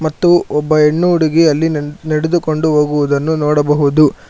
ಮತ್ತು ಒಬ್ಬ ಹೆಣ್ಣು ಹುಡುಗಿ ಅಲ್ಲಿ ನಡಿ ನಡೆದುಕೊಂಡು ಹೋಗುವುದನ್ನು ನೋಡಬಹುದು.